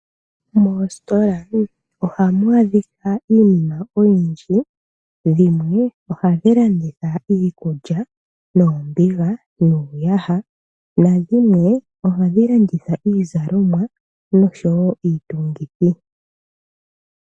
Moositola oha mu adhikwa iinima oyindji. Dhimwe ohadhi landitha iikulya, noombiga niiyaha, nadhimwe oha dhi landitha iizalomwa nosho wo iitungithi.